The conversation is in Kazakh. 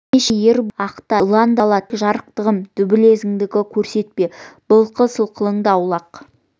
ендеше не ер бол да ақта немесе илан да жазала тек жарықтығым дүмбілезіңді көрсетпе былқыл-сылқылыңды аулақ